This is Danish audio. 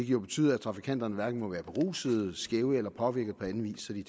jo betyder at trafikanterne hverken må være berusede skæve eller påvirkede på anden vis så de